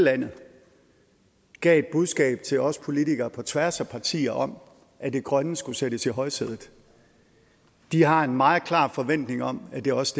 landet gav er et budskab til os politikere på tværs af partier om at det grønne skulle sættes i højsædet de har en meget klar forventning om at det også